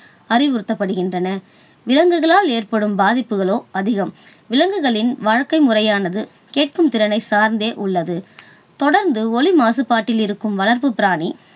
அறிவுறுத்தப்படுகின்றனர். விலங்குகளால் ஏற்படும் பாதிப்புகளோ அதிகம். விலங்குகளின் வாழ்க்கை முறையானது கேட்கும் திறனை சார்ந்தே உள்ளது. தொடர்ந்து ஒலி மாசுபாட்டில் இருக்கும் வளர்ப்பு பிராணி